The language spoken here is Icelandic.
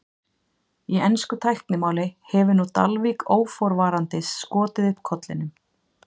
í ensku tæknimáli hefur nú dalvík óforvarandis skotið upp kollinum